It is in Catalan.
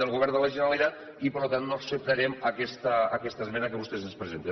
del govern de la generalitat i per tant no acceptarem aquesta esmena que vostès ens presenten